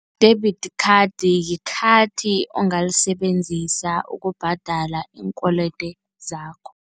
Debit khadi, likhathi ongalisebenzisa ukubhadala iinkwelede zakho.